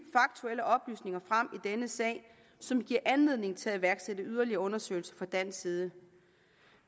faktuelle oplysninger frem i denne sag som giver anledning til at iværksætte yderligere undersøgelse fra dansk side